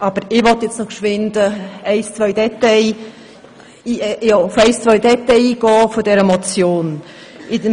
Aber ich möchte nun noch kurz auf ein, zwei Details dieser Motion eingehen.